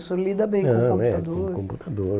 O senhor lida bem com o computador. Não, é, com o computador.